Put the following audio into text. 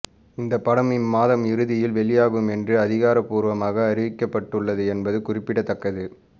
இந்த படம் இம்மாத இறுதியில் வெளியாகும் என்று அதிகாரப்பூர்வமாக அறிவிக்கப்பட்டுள்ளது என்பது குறிப்பிடத்தக்கது